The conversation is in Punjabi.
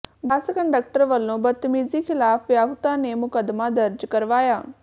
ਬੱਸ ਕੰਡਕਟਰ ਵਲੋਂ ਬਦਤਮੀਜੀ ਿਖ਼ਲਾਫ਼ ਵਿਆਹੁਤਾ ਨੇ ਮੁਕੱਦਮਾ ਦਰਜ ਕਰਵਾਇਆ